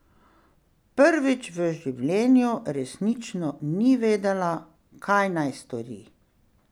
Prvič v življenju resnično ni vedela, kaj naj stori.